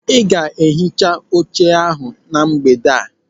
Ị ga-ehicha oche ahụ na mgbede a.